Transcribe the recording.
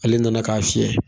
Ale nana k'a fiyɛ